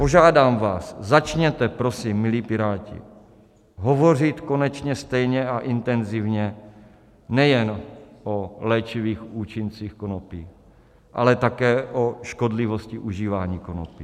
Požádám vás, začněte prosím, milí Piráti, hovořit konečně stejně a intenzivně nejen o léčivých účincích konopí, ale také o škodlivosti užívání konopí.